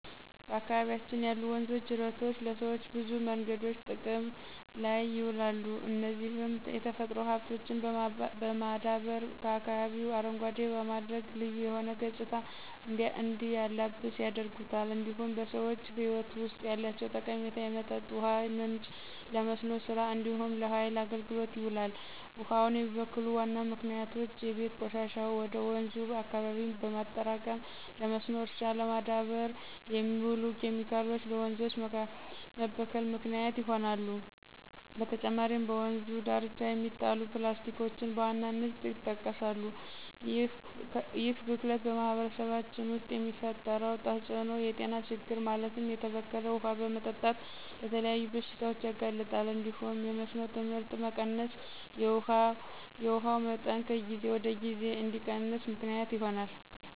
በአካባቢያችን ያሉ ወንዞችና ጅረቶች ለሰዎች በብዙ መንገዶች ጥቅም ላይ ይውላሉ፣ እነዚህም የተፈጥሮ ሀብቶችን በማዳበር አካባቢውን አረንጓዴ በማድረግ ልዩ የሆነ ገፅታ እንዲላበስ ያደርጉታል። እንዲሁም በሰዎች ህይወት ውስጥ ያላቸው ጠቀሜታ የመጠጥ ውሃ ምንጭ፣ ለመስኖ ስራ እንዲሁም ለሃይል አገልግሎት ይውላል። ውሃውን የሚበክሉ ዋና ምክንያቶች የቤት ቆሻሻን ወደ ወንዙ አካባቢ በማጠራቀም፣ ለመስኖ እርሻ ለማዳበር የሚውሉ ኬሚካሎች ለወንዞች መበከል ምክንያት ይሆናሉ። በተጨማሪም በወንዙ ዳርቻ የሚጣሉ ፕላስቲኮችን በዋናነት ይጠቀሳሉ። ይህ ብክለት በማህበረሰባችን ውስጥ የሚፈጥረው ተፅዕኖ የጤና ችግር ማለትም የተበከለ ውሃ በመጠጣት ለተለያዩ በሽታዎች ያጋልጣል እንዲሁም የመስኖ ምርት መቀነስና የውሃው መጠን ከጊዜ ወደ ጊዜ እንዲቀንስ ምክንያት ይሆናል።